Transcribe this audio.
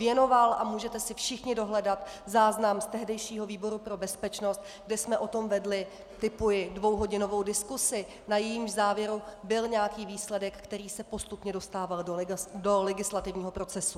Věnoval a můžete si všichni dohledat záznam z tehdejšího výboru pro bezpečnost, kde jsme o tom vedli, tipuji, dvouhodinovou diskusi, na jejímž závěru byl nějaký výsledek, který se postupně dostával do legislativního procesu.